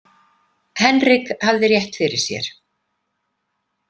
Henrik hafði rétt fyrir sér.